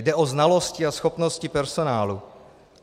Jde o znalosti a schopnosti personálu.